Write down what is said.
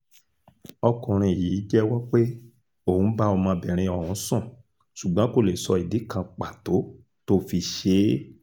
ọkùnrin yìí jẹ́wọ́ pé òun bá ọmọbìnrin ọ̀hún sùn ṣùgbọ́n kó lè sọ ìdí kan pàtó tó fi ṣe é